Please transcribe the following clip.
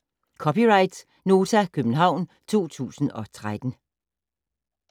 (c) Nota, København 2013